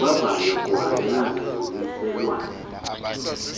kuvavanywa kuhambelana nommiselwana